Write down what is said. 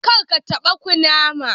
Karka taba kunama.